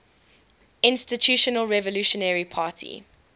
institutional revolutionary party